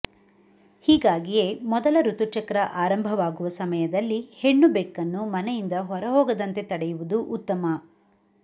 ಹೀಗಾಗಿಯೇ ಮೊದಲ ಋತುಚಕ್ರ ಆರಂಭವಾಗುವ ಸಮಯದಲ್ಲಿ ಹೆಣ್ಣು ಬೆಕ್ಕನ್ನು ಮನೆಯಿಂದ ಹೊರ ಹೋಗದಂತೆ ತಡೆಯುವುದು ಉತ್ತಮ